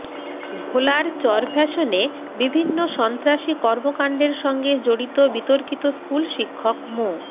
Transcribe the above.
ভোলার চরফ্যাশনে বিভিন্ন সন্ত্রাসী কর্মকাণ্ডের সঙ্গে জড়িত বিতর্কিত স্কুলশিক্ষক মো